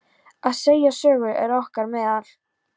Að segja sögur er okkar meðal.